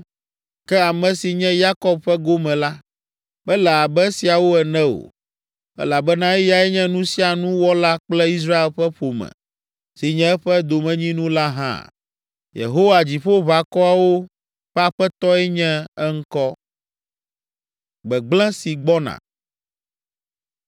Ke ame si nye Yakob ƒe gome la, mele abe esiawo ene o, elabena eyae nye nu sia nu wɔla kple Israel ƒe ƒome si nye eƒe domenyinu la hã. Yehowa, Dziƒoʋakɔwo ƒe Aƒetɔe nye eŋkɔ.